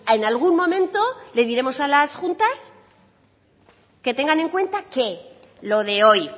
en algún momento les diremos a las juntas que tengan en cuenta qué lo de hoy